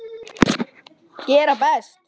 Gera best.